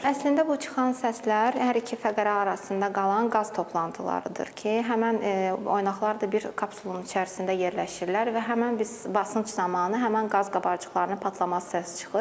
Əslində bu çıxan səslər hər iki fəqərə arasında qalan qaz toplantılarıdır ki, həmin oynaqlar da bir kapsulun içərisində yerləşirlər və həmin biz basınc zamanı həmin qaz qabarcıqlarının partlaması səsi çıxır.